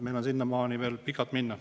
Meil on sinnamaani veel pikalt minna.